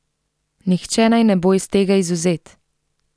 Nihče naj ne bo iz tega izvzet!